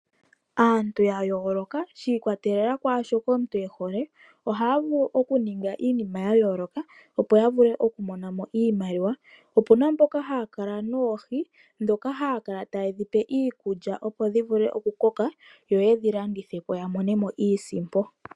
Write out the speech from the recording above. Aantu ya yooloka shi ikwatelela kwaashoka omuntu e hole, ohaya vulu okuninga iinima ya yooloka opo ya vule okumona mo iimaliwa. Opuna mboka haya kala noohi ndhoka haa kala taye dhi pe iikulya, opo dhi vule okukoka yo ye dhi landithe po ya mone mo iisimpo.